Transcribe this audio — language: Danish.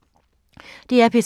DR P3